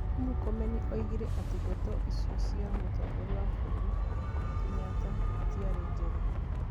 Murkomen oigire atĩ ndeto icio cia Mũtongoria wa bũrũri Kenyatta ĩtiarĩ njega.